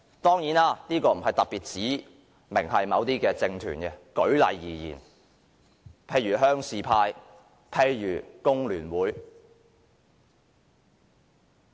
當然，這並非特別指明某些政團，只是舉例而言而已，譬如鄉事派、工聯會等。